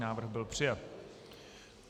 Návrh byl přijat.